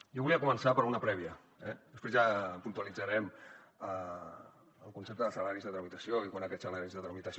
jo volia començar per una prèvia eh després ja puntualitzarem el concepte de salaris de tramitació i quan aquests salaris de tramitació